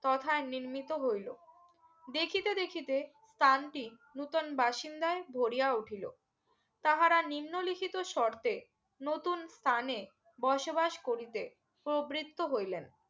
তথা নির্মিত হইলো দেখিতে দেখিতে ত্রান টি নতুন বাসিন্দায় ভরিয়া উঠিলো তাহারা নিম্ন লিখিত সর্তে নতুন স্থানে বসবাস করিতে ও প্রবৃত্ত হইলেন